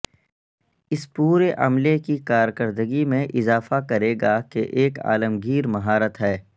اس پورے عملے کی کارکردگی میں اضافہ کرے گا کہ ایک عالمگیر مہارت ہے